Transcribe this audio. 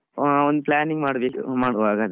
ಅಹ್ ಒಂದ್ planning ಮ~ ಮಾಡುವ ಹಾಗಾದ್ರೆ.